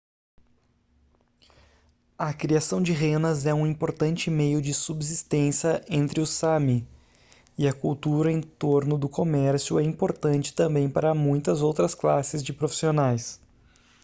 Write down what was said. a criação de renas é um importante meio de subsistência entre os sámi e a cultura em torno do comércio é importante também para muitas outras classes de profissionais